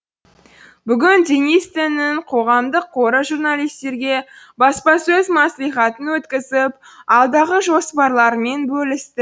бүгін денис теннің қоғамдық қоры журналистерге баспасөз мәслихатын өткізіп алдағы жоспарларымен бөлісті